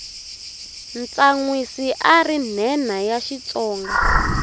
tsanwisi ari nhenha ya xitsonga